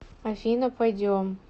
афина пойдем